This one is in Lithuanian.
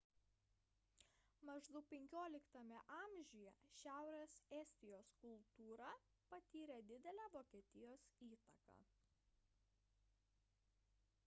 maždaug xv amžiuje šiaurės estijos kultūra patyrė didelę vokietijos įtaką